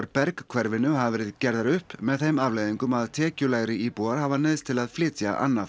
Berg hverfinu hafa verið gerðar upp með þeim afleiðingum að tekjulægri íbúar hafa neyðst til að flytja annað